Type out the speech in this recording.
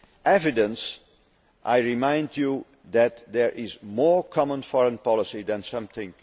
Evidence, I remind you, that there is more common foreign policy than some